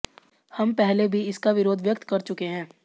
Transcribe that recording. हम पहले भी इसका विरोध व्यक्त कर चुके है